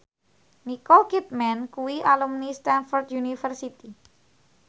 Nicole Kidman kuwi alumni Stamford University